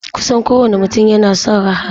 Kusan kowane mutum yana son raha.